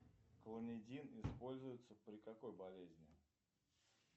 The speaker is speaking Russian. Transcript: клонидин используется при какой болезне